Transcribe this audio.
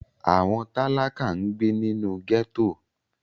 Àwọn tálákà ń gbé nínú gẹ́tò